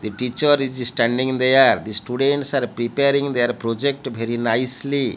the teacher is standing there the students are preparing their project very nicely.